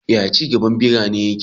Yaya ci gaban birane yake?